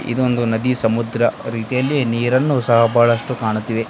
ಇದೊಂದು ನದಿ ಸಮುದ್ರ ರೀತಿಯಲ್ಲಿ ನೀರನ್ನು ಸಹ ಬಹಳಷ್ಟು ಕಾಣುತ್ತಿವೆ.